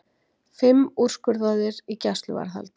Fimm úrskurðaðir í gæsluvarðhald